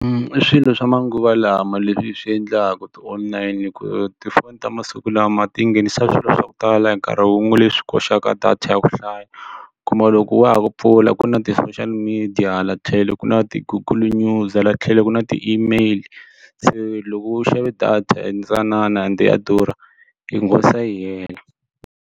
I swilo swa manguva lama leswi swi endlaka ti-online ku tifoni ta masiku lama ti nghenisa swilo swa ku tala hi nkarhi wun'we leswi koxaka data ya ku hlaya u kuma loko wa ha ku pfula la ku na ti-social media hala tlhelo ku na ti-google news hala tlhelo ku na ti-email se loko u xave data ntsanana ende ya durha yi yi hela.